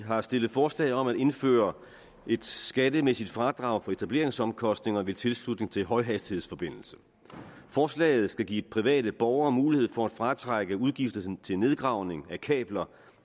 har stillet forslag om at indføre et skattemæssigt fradrag for etableringsomkostninger ved tilslutning til højhastighedsforbindelse forslaget skal give private borgere mulighed for at fratrække udgifterne til nedgravning af kabler